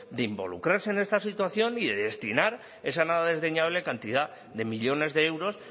de involucrarse en esta situación y de destinar esa nada desdeñable cantidad de millónes de euros